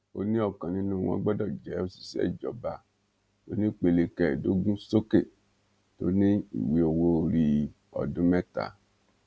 ó ní ọkan nínú wọn gbọdọ jẹ òṣìṣẹ ìjọba onípele kẹẹẹdógún sókè tó ní ìwé owóorí ọdún mẹta